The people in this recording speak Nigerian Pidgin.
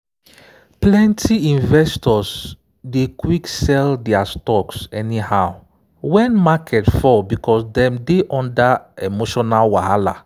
plenty investors dey quick sell their stocks anyhow when market fall because dem dey under emotional wahala.